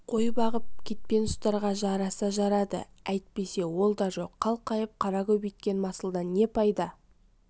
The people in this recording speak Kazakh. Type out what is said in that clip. қой бағып кетпен ұстарға жараса жарады әйтпесе ол да жоқ қалқайып қара көбейткен масылдан пайда не